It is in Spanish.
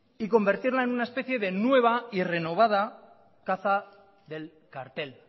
y convertirla en una especie de nueva y renovada caza del cartel